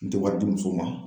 N tɛ wari di muso ma.